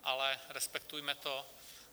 Ale respektujme to.